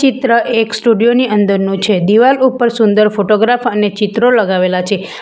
ચિત્ર એક સ્ટુડીયો ની અંદરનો છે દિવાલ ઉપર સુંદર ફોટોગ્રાફ અને ચિત્રો લગાવેલા છે.